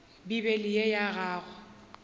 bibele ye ya gago go